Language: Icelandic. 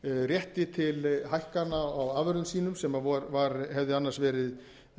rétti til hækkana á afurðum sínum sem hefði annars verið